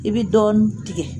I bɛ dɔɔni tigɛ